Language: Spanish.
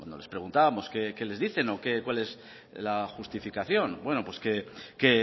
les preguntábamos qué les dicen o cuál es la justificación bueno pues que